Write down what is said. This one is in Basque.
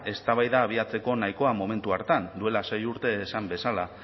eztabaida abiatzeko nahikoa momentu hartan duela sei urte esan bezala